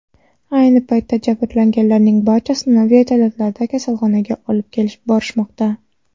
Ayni paytda jabrlanganlarning barchasini vertolyotlarda kasalxonaga olib borishmoqda.